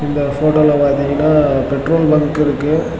இங்க போட்டோல பாத்தீங்கன்னா பெட்ரோல் பங்க் இருக்கு.